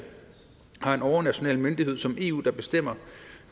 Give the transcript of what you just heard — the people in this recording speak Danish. har en overnational myndighed som eu der bestemmer